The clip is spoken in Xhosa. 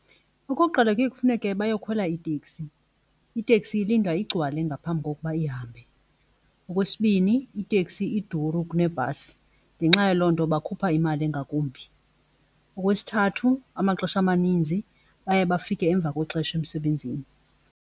Okokuqala kuye kufuneke bayokhwela iiteksi, iteksi ilinda igcwale ngaphambi kokuba ihambe. Okwesibini iteksi iduru kunebhasi ngenxa yaloo nto bakhupha imali engakumbi. Okwesithathu amaxesha amaninzi baye bafike emva kwexesha emsebenzini.